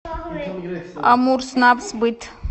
амурснабсбыт